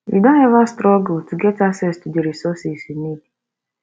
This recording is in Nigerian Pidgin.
you don ever struggle to get access to di resources you need